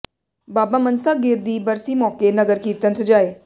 ਬਾਬਾ ਮਨਸਾ ਗਿਰ ਦੀ ਬਰਸੀ ਮੌਕੇ ਨਗਰ ਕੀਰਤਨ ਸਜਾਏ